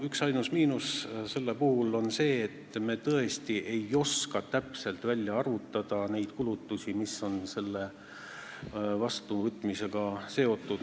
Üksainus miinus on see, et me tõesti ei oska täpselt välja arvutada neid kulutusi, mis on selle seaduse vastuvõtmisega seotud.